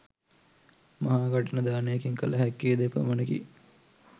මහා කඨින දානයකින් කළ හැක්කේ ද එපමණකි.